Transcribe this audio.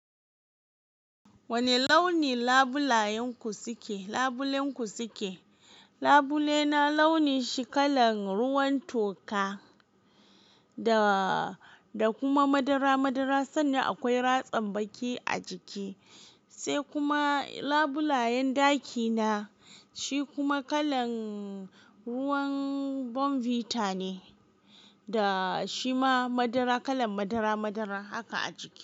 Wane launi labulayen ku suke, labulen ku suke? Labule na launi shi kalan ruwan toka da, da kuma madara madara sannan akwai ratsam baki a jiki. Sai kuma labulayen dakina shi kuma kalan ruwan Bonvita ne da shi ma madara kalan madara madara haka a jiki.